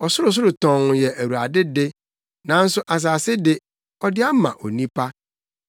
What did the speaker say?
Ɔsorosoro tɔnn yɛ Awurade de, nanso asase de, ɔde ama onipa.